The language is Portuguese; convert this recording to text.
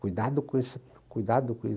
Cuidado com isso, cuidado com